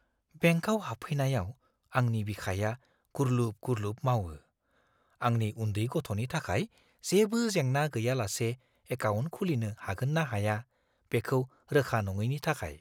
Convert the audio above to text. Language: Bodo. बेंकआव हाबफैनायाव, आंनि बिखाया गुरलुब-गुरलुब मावो, आंनि उन्दै गथ'नि थाखाय जेबो जेंना गैयालासे एकाउन्ट खुलिनो हागोन ना हाया, बेखौ रोखा नङैनि थाखाय।